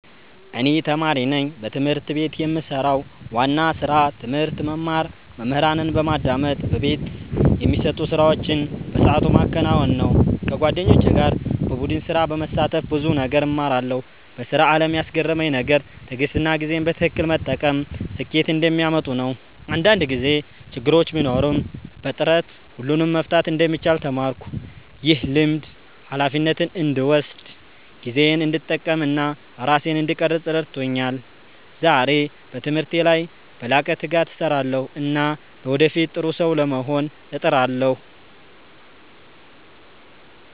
እኔ ተማሪ ነኝ። በትምህርት ቤት የምሰራው ዋና ስራ ትምህርት መማር፣ መምህራንን በማዳመጥ በቤት የሚሰጡ ስራዎችን በሰዓቱ ማከናወን ነው። ከጓደኞቼ ጋር በቡድን ስራ በመሳተፍ ብዙ ነገር እማራለሁ። በስራ አለም ያስገረመኝ ነገር ትዕግሥትና ጊዜን በትክክል መጠቀም ስኬት እንደሚያመጡ ነው። አንዳንድ ጊዜ ችግር ቢኖርም በጥረት ሁሉን መፍታት እንደሚቻል ተማርኩ። ይህ ልምድ ሃላፊነትን እንድወስድ፣ ጊዜዬን እንድጠቀም እና ራሴን እንድቀርፅ ረድቶኛል። ዛሬ በትምህርቴ ላይ በላቀ ትጋት እሰራለሁ እና ለወደፊት ጥሩ ሰው ለመሆን እጥራለሁ።